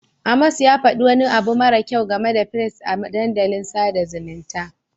Amos ya faɗi wani abu mara kyau game da firist a dandalin sada zumunta.